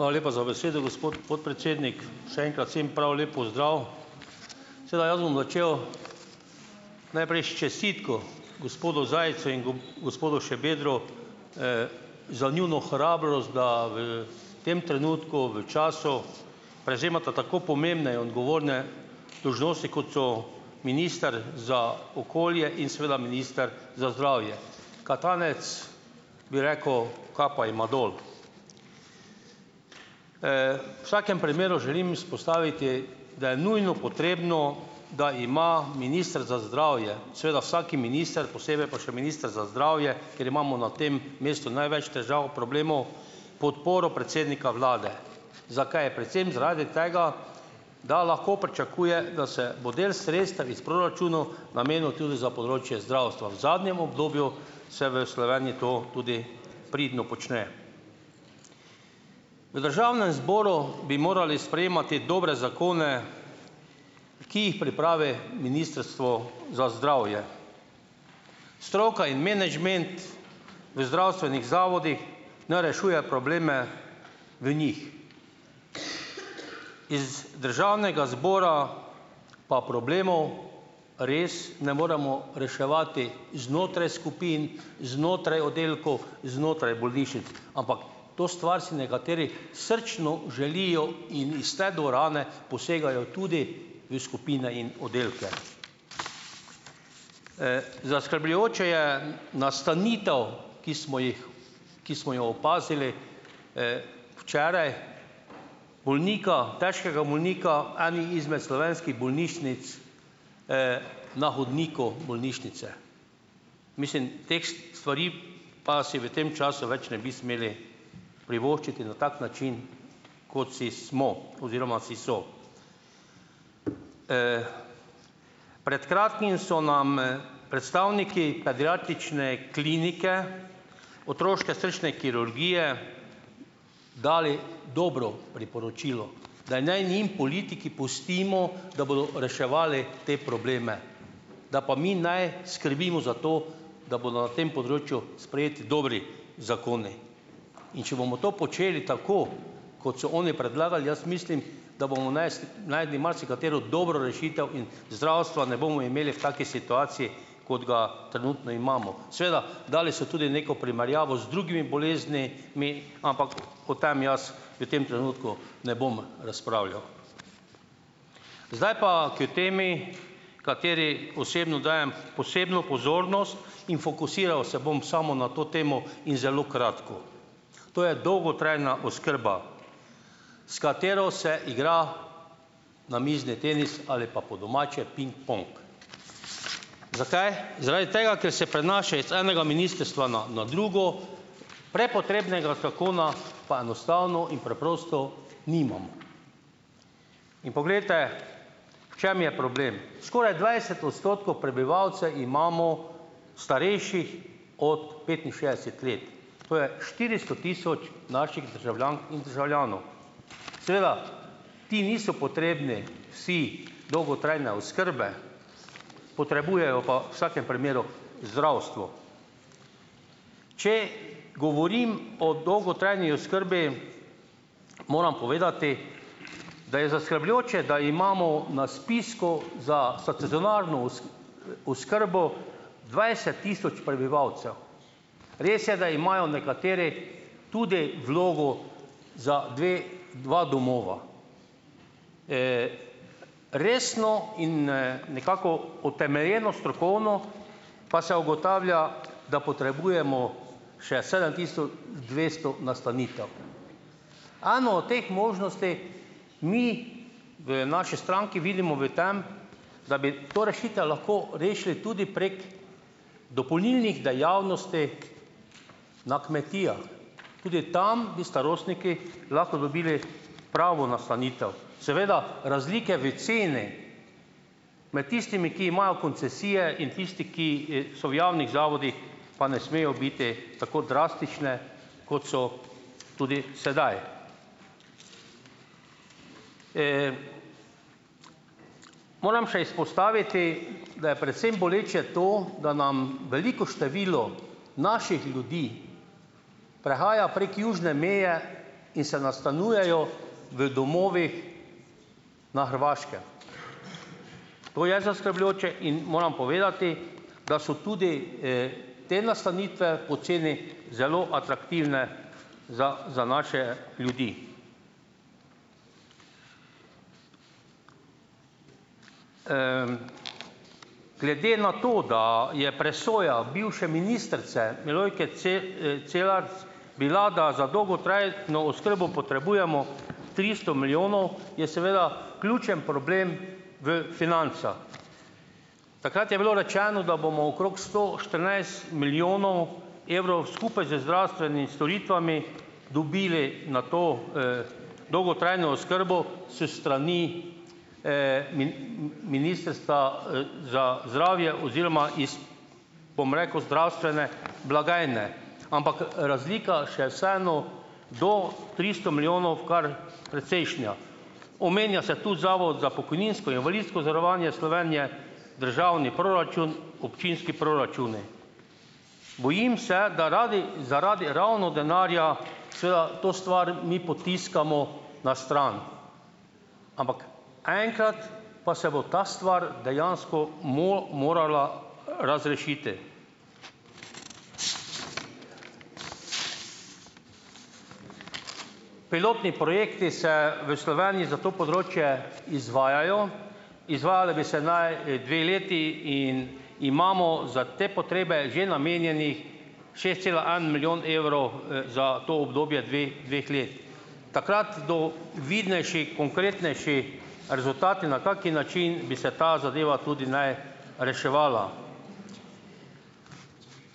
Hvala lepa za besedo, gospod podpredsednik. Še enkrat vsem prav lep pozdrav. Seveda, jaz bom začel najprej s čestitko gospodu Zajcu in gospodu Šabedru, za njuno hrabrost, da v tem trenutku, v času, prevzemata tako pomembne odgovorne dolžnosti, kot so minister za okolje in seveda minister za zdravje. Katanec bi rekel: "Kapa jima dol." V vsakem primeru želim izpostaviti, da je nujno potrebno, da ima minister za zdravje, seveda vsak minister, posebej pa še minister za zdravje, ker imamo na tem mestu največ težav, problemov, podporo predsednika vlade. Zakaj? Predvsem zaradi tega, da lahko pričakuje, da se bo del sredstev iz proračunov namenil tudi za področje zdravstva. V zadnjem obdobju se v Sloveniji to tudi pridno počne. V državnem zboru bi morali sprejemati dobre zakone, ki jih pripravi ministrstvo za zdravje. Stroka in menedžment v zdravstvenih zavodih ne rešuje probleme v njih. Državnega zbora pa problemov res ne moremo reševati znotraj skupin, znotraj oddelkov, znotraj bolnišnic. Ampak to stvar si nekateri srčno želijo in iz te dvorane posegajo tudi v skupine in oddelke. Zaskrbljujoče je, nastanitev, ki smo jih, ki smo jo opazili včeraj, bolnika, težkega bolnika, eni izmed slovenskih bolnišnic, na hodniku bolnišnice. Mislim, teh stvari pa si v tem času več ne bi smeli privoščiti na tak način, kot si smo oziroma si so. Pred kratkim so nam, predstavniki pediatrične klinike otroške srčne kirurgije dali dobro priporočilo, da naj njim politiki pustimo, da bodo reševali te probleme, da pa mi naj skrbimo za to, da bodo na tem področju sprejeti dobri zakoni, in če bomo to počeli tako, kot so oni predlagali, jaz mislim, da bomo našli marsikatero dobro rešitev in zdravstva ne bomo imeli v taki situaciji kot ga trenutno imamo. Seveda, dali so tudi neko primerjavo z drugimi boleznimi, ampak o tem jaz v tem trenutku ne bom razpravljal. Zdaj pa k temi, kateri osebno dajem posebno pozornost in fokusiral se bom samo na to temo in zelo kratko. To je dolgotrajna oskrba, s katero se igra namizni tenis ali pa, po domače, pingpong. Zakaj? Zaradi tega, ker se prenaša iz enega ministrstva na na drugo, prepotrebnega zakona pa enostavno in preprosto nimamo. In poglejte, v čem je problem? Skoraj dvajset odstotkov prebivalcev imamo starejših od petinšestdeset let, to je štiristo tisoč naših državljank in državljanov. Seveda, ti niso potrebni vsi dolgotrajne oskrbe, potrebujejo pa vsakem primeru, zdravstvo. Če govorim o dolgotrajni oskrbi, moram povedati, da je zaskrbljujoče, da imamo na spisku oskrbo dvajset tisoč prebivalcev. Res je, da imajo nekateri tudi vlogo za dve, dva domova. Resno in, nekako utemeljeno strokovno pa se ugotavlja, da potrebujemo še sedem tisoč dvesto nastanitev. Eno o teh možnosti mi v naši stranki vidimo v tem, da bi to rešite, lahko rešili tudi prek dopolnilnih dejavnosti na kmetijah, tudi tam bi starostniki lahko dobili pravo nastanitev. Seveda, razlike v ceni med tistimi, ki imajo koncesije, in tistimi, ki, so v javnih zavodih, pa ne smejo biti tako drastične, kot so tudi sedaj. Moram še izpostaviti, da je predvsem boleče to, da nam veliko število naših ljudi prehaja prek južne meje in se nastanjujejo v domovih na Hrvaškem, to je zaskrbljujoče; in moram povedati, da so tudi te nastanitve po ceni zelo atraktivne za, za naše ljudi. Glede na to, da je presoja bivše ministrice Milojke Celarc, bila, da za dolgotrajno oskrbo potrebujemo tristo milijonov, je seveda ključen problem v financah. Takrat je bilo rečeno, da bomo okrog sto štirinajst milijonov evrov, skupaj z zdravstvenimi storitvami, dobili na to dolgotrajno oskrbo s strani ministrstva, za zdravje oziroma iz, bom rekel, zdravstvene blagajne, ampak razlika še vseeno do tristo milijonov kar precejšnja. Omenja se tu Zavod za pokojninsko invalidsko zavarovanje Slovenije, državni proračun, občinski proračuni. Bojim se, da zaradi ravno denarja to stvar mi potiskamo na stran, ampak enkrat pa se bo to stvar dejansko morala razrešiti. Pilotni projekti se v Sloveniji za to področje izvajajo, izvajale bi se naj, dve leti, in imamo za te potrebe že namenjenih šest cela en milijon evrov, za to obdobje dveh dveh let, takrat do vidnejši, konkretnejši rezultati, na kak način bi se ta zadeva tudi naj reševala.